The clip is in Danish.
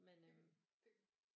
Men øh